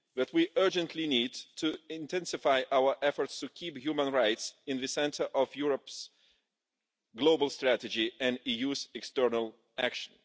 We urgently need to intensify our efforts to keep human rights at the centre of Europe's Global Strategy and the EU's external action.